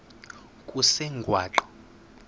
kusengwaqa